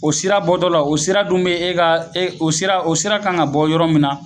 O sira bɔtɔla o sira dun be e ka e o sira o sira kan ka bɔ yɔrɔ min na